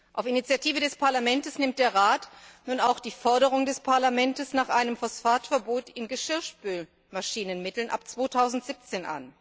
Auf Initiative des Parlaments nimmt der Rat nun auch die Forderung des Parlaments nach einem Phosphatverbot in Geschirrspülmaschinenmitteln ab 2017